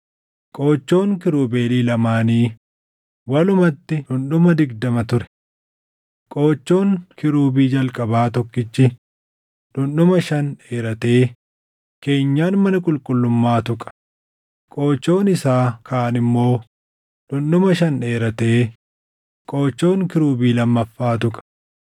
Qoochoon kiirubeelii lamaanii walumatti dhundhuma digdama ture. Qoochoon kiirubii jalqabaa tokkichi dhundhuma shan dheeratee keenyan mana qulqullummaa tuqa; qoochoon isaa kaan immoo dhundhuma shan dheeratee Qoochoon kiirubii lammaffaa tuqa.